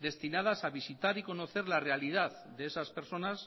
destinadas a visitar y conocer la realidad de esas personas